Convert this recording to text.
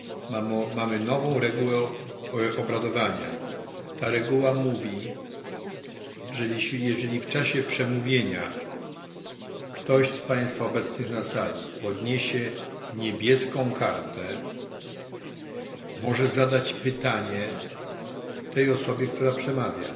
Ta reguła mówi, że jeżeli w czasie przemówienia ktoś z państwa obecnych na sali podniesie niebieską kartę, może zadać pytanie tej osobie, która przemawia.